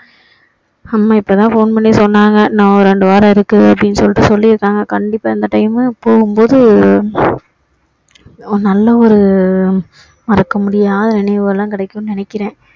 அம்மா இப்போதான் phone பண்ணி சொன்னாங்க இன்னும் ஒரு இரண்டு வாரம் இருக்கும் அப்படின்னு சொல்லிட்டு சொல்லி இருக்காங்க கண்டிப்பா இந்த time போகும் போது ஒரு நல்ல ஒரு மறக்க முடியாத நினைவுகள் எல்லாம் கிடைக்கும்னு நினைக்கிறேன்